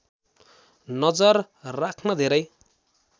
नजर राख्न धेरै